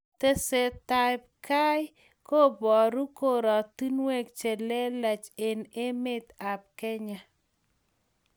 Tesetai ab kei ko paru koratinwek che leleach eng' emet ab Kenya